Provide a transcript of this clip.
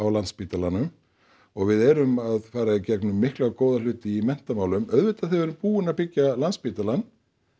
Landspítalanum og við erum að fara í gegnum mikla og góða hluti í menntamálum auðvitað þegar við erum búin að byggja Landspítalann